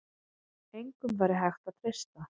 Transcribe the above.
Engum væri hægt að treysta.